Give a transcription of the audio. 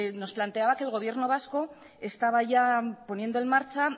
nos planteaba que el gobierno vasco estaba ya poniendo en marcha